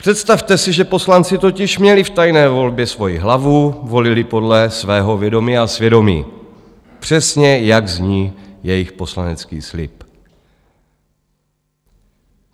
Představte si, že poslanci měli totiž v tajné volbě svoji hlavu, volili podle svého vědomí a svědomí, přesně jak zní jejich poslanecký slib.